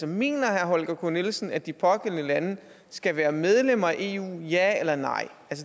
mener herre holger k nielsen at de pågældende lande skal være medlem af eu ja eller nej